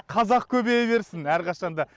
қазақ көбейе берсін арқашанда